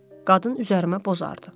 Qadın üzərimə bozardı.